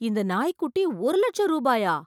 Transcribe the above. இந்த நாய்க்குட்டி ஒரு இலட்சம் ரூபாயா!